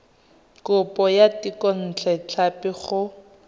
kopo ya thekontle tlhapi go